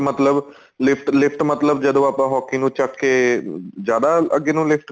lift ਮਤਲਬ ਜਦੋਂ ਆਪਾਂ hockey ਨੂੰ ਚੱਕ ਕੇ ਜਿਆਦਾ ਅੱਗੇ ਨੂੰ lift